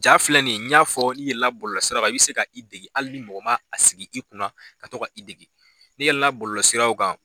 Ja filɛ nin ye n y'a fɔ n'i yɛlɛnna bɔlɔlɔsira kan i bɛ se ka i dege hali ni mɔgɔ ma a sigi i kunna ka to ka i dege ne yɛlɛnna bɔlɔlɔsiraw kan